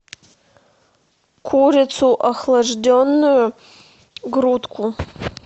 курицу охлажденную грудку